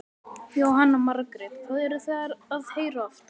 Jóhanna Margrét: Hvað eruð þið að heyra oftast?